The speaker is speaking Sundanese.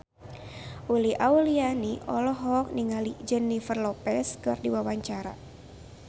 Uli Auliani olohok ningali Jennifer Lopez keur diwawancara